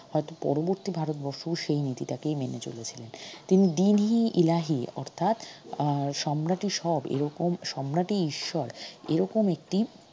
হয়ত পরবর্তি ভারতবর্ষ সেই নীতিটাকেই মেনে চলে ছিলেন তিনি দ্বীন ই ইলাহি অর্থাৎ এর সম্রাটই সব এরকম সম্রাটই ঈশ্বর এরকম একটি